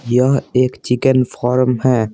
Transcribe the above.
यह एक chicken farm है।